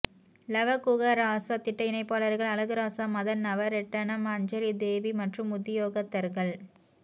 லவகுகராசா திட்ட இணைப்பாளர்கள் அழகுராசா மதன் நவரெட்ணம் அஞ்சலிதேவி மற்றும் உத்தியோகத்தர்கள்